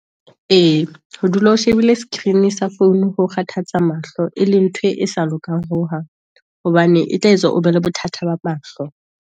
E, ho dula o shebile screen sa phone ho kgathatsa mahlo, e leng ntho e sa lokang ho hang, hobane e tla etswa o be le bothata ba mahlo.